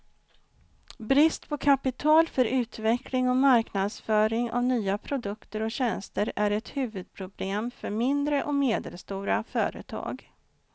Brist på kapital för utveckling och marknadsföring av nya produkter och tjänster är ett huvudproblem för mindre och medelstora företag.